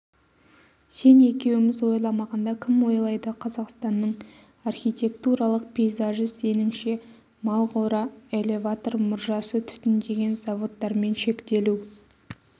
сен екеуіміз ойламағанда кім ойлайды қазақстанның архитектуралық пейзажы сеніңше малқора элеватор мұржасы түтіндеген заводтармен шектелу